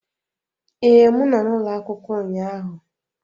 Ee, m nọ n'ụlọ akwụkwọ ụnyaahụ